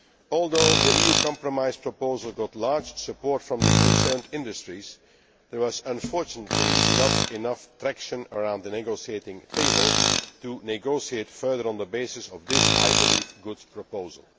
Although the EU compromise proposal got large support from the industries concerned, there was unfortunately not enough traction around the negotiating table to negotiate further on the basis of this I believe good proposal.